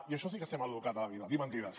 i això sí que és ser mal educat a la vida dir mentides